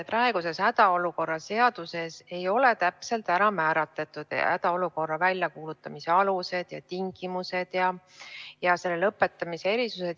Praeguses hädaolukorra seaduses ei ole täpselt määratletud hädaolukorra väljakuulutamise alused ja tingimused ja selle lõpetamise erisused.